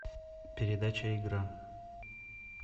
передача игра